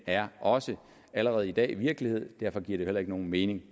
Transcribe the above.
er også allerede i dag virkelighed og derfor giver det heller ikke nogen mening